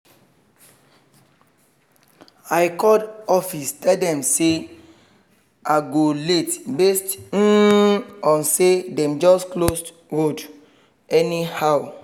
i call office tell them say i go late based um on say dem just close road anyhow